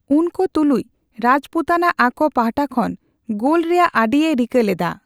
ᱩᱱᱠᱚ ᱛᱩᱞᱩᱡ, ᱨᱟᱡᱽᱯᱩᱛᱟᱱᱟ ᱟᱠᱚ ᱯᱟᱦᱴᱟ ᱠᱷᱚᱱ ᱜᱳᱞ ᱨᱮᱭᱟᱜ ᱟᱹᱰᱤᱭᱮ ᱨᱤᱠᱟᱹ ᱞᱮᱫᱟ ᱾